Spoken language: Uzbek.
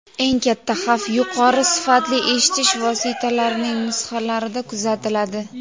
eng katta xavf yuqori sifatli eshitish vositalarining nusxalarida kuzatiladi.